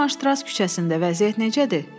Şumanstra küçəsində vəziyyət necədir?